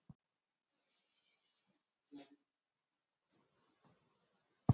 Og ef það er hægt, hvernig og hvar geta þær vistast?